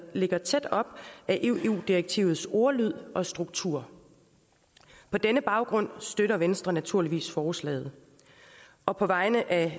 ligger tæt op ad eu direktivets ordlyd og struktur på denne baggrund støtter venstre naturligvis forslaget og på vegne af